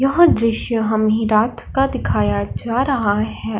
यह दृश्य हमें रात का दिखाया जा रहा है।